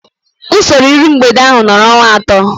Usoro iru mgbede ahu nọrọ ọnwa atọ